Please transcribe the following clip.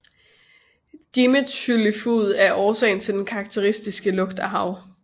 Dimetylsulfid er også årsagen til den karakteristiske lugt af hav